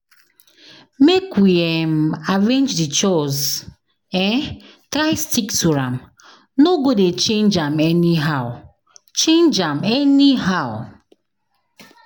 Make we um arrange the chores um try stick to am, no go dey change am anyhow. change am anyhow.